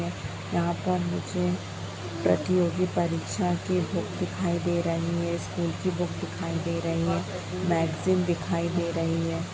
है यहाँ पर मुझे प्रतियोगी परीक्षा की बुक दिखाई दे रही है स्कूल की बुक दिखाई दे रही है मेगज़ीन दिखाई दे रही है।